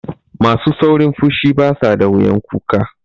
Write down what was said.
Masu saurin fushi basu da wuyan kuka.